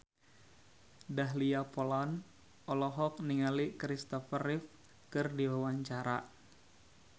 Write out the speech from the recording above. Dahlia Poland olohok ningali Kristopher Reeve keur diwawancara